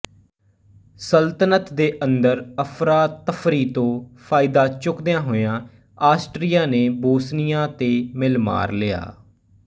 ਸਲਤਨਤ ਦੇ ਅੰਦਰ ਅਫ਼ਰਾਤਫ਼ਰੀ ਤੋਂ ਫ਼ਾਇਦਾ ਚੁਕਦਿਆ ਹੋਇਆਂ ਆਸਟਰੀਆ ਨੇ ਬੋਸਨੀਆ ਤੇ ਮਿਲ ਮਾਰ ਲਿਆ